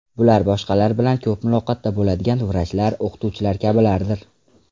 Bular boshqalar bilan ko‘p muloqotda bo‘ladiganlar, vrachlar, o‘qituvchilar kabilardir.